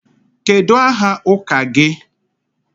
Kedu aha ụka gị?